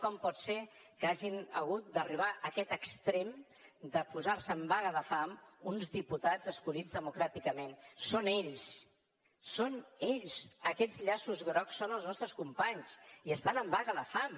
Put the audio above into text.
com pot ser que hagin hagut d’arribar a aquest extrem de posar se en vaga de fam uns diputats escollits democràticament són ells són ells aquests llaços grocs són els nostres companys i estan en vaga de fam